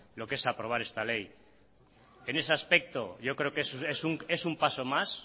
lo que es aprobar esta ley en ese aspecto yo creo que es un paso más